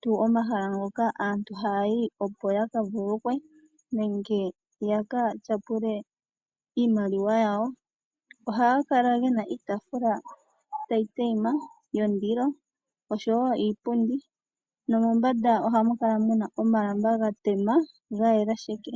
tuu omahala ngoka aantu haayi opo ya ka vululukwe nenge ya ka tyapule iimaliwa yawo. Ohaga kala ge na iitaafula tayi tayima, yondilo sho wo iipundi. Nomombanda ohamu kala mu na omalamba ga tema, ga yela sheke.